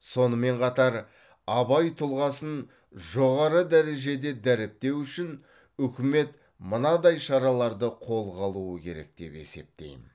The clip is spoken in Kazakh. сонымен қатар абай тұлғасын жоғары дәрежеде дәріптеу үшін үкімет мынадай шараларды қолға алуы керек деп есептеймін